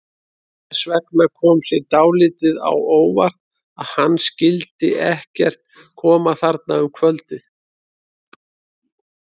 Þess vegna kom mér dálítið á óvart að hann skyldi ekkert koma þarna um kvöldið.